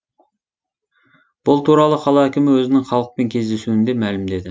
бұл туралы қала әкімі өзінің халықпен кездесуінде мәлімдеді